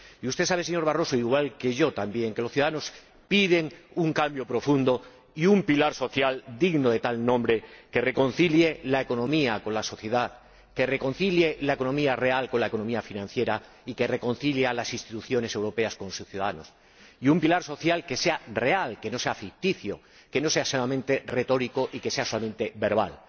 Y usted sabe, señor Barroso, igual que yo también, que los ciudadanos piden un cambio profundo y un pilar social digno de tal nombre que reconcilie la economía con la sociedad, que reconcilie la economía real con la economía financiera y que reconcilie a las instituciones europeas con sus ciudadanos, y un pilar social que sea real, que no sea ficticio, que no sea solamente retórico ni solamente verbal.